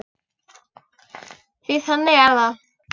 Því að þannig er það!